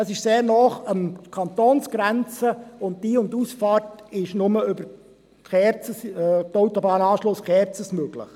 Es liegt sehr nahe an der Kantonsgrenze und die Ein- und Ausfahrt ist nur über den Autobahnanschluss Kerzers möglich.